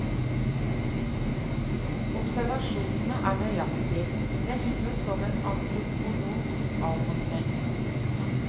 Observasjonene er nøyaktige, nesten som en antropologs avhandling.